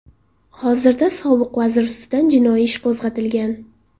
Hozirda sobiq vazir ustidan jinoiy ish qo‘zg‘atilgan.